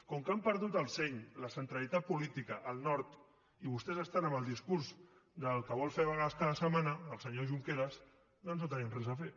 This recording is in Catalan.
com que han perdut el seny la centralitat política el nord i vostès estan amb el discurs de qui vol fer vagues cada setmana el senyor junqueras doncs no tenim res a fer